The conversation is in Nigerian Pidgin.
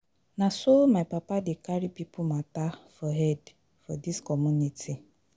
Na so my papa dey carry pipo mata for head for dis community.